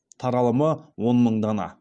таралымы он мың дана